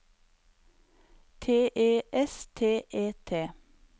T E S T E T